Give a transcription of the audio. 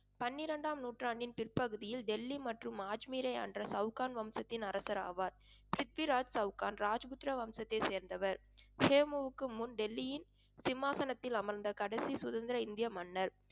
பன்னிரண்டாம் நூற்றாண்டின் பிற்பகுதியில் டெல்லி மற்றும் அஜ்மீரை ஆண்ட சவுகான் வம்சத்தின் அரசர் ஆவார். பிரித்விராஜ் சவுகான் ராஜபுத்திர வம்சத்தை சேர்ந்தவர். ஹேமுவிற்க்கு முன் டெல்லியின் சிம்மாசனத்தில் அமர்ந்த கடைசி சுதந்திர இந்திய மன்னர்